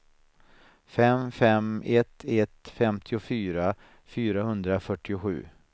fem fem ett ett femtiofyra fyrahundrafyrtiosju